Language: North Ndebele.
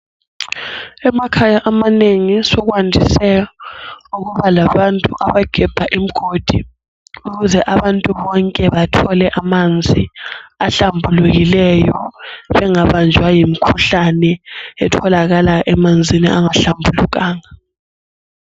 Emakhaya amanengi sokwandise ukuba labantu abagebha imgodi ukuze abantu bonke bathole amanzi ahlambulukileyo bengabanjwa yimkhuhlane etholakala emanzini angahlambulukanga.